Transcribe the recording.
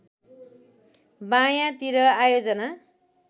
बायाँ तिर आयोजना